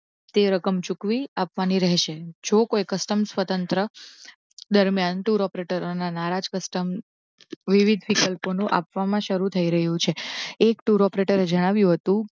તે રકમ ચુકવી આપવા ની રહેશે. જો કોઈ કસ્ટમ સ્વતંત્ર દરમિયાન ટૂર ઓપરેટરોના નારાજ custom વિવિધ વિકલ્પ આપવામાં શરૂ થઈ રહ્યું છે. એક tour operator જણાવ્યું હતું